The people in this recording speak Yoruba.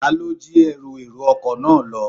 Ta ló jí Ẹrù èrò ọkọ̀ náà lọ.